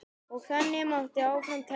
Og þannig mætti áfram telja.